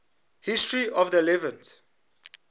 history of the levant